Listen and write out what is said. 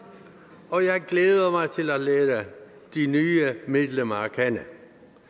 og jeg glæder mig til at lære de nye medlemmer at alle